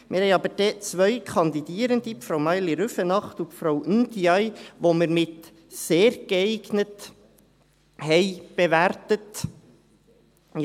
Wir haben aber zwei Kandidierende, Frau Maïli Rüfenacht und Frau Ndiaye, die wir mit «sehr geeignet» bewertet haben.